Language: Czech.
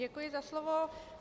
Děkuji za slovo.